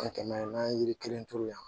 kɛmɛ naani n'an ye yiri kelen turu yan